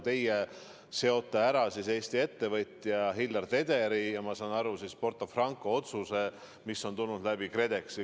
Teie seote Eesti ettevõtja Hillar Tederi ja, ma saan aru, Porto Franco kohta tehtud otsuse, mis on tulnud KredExi kaudu.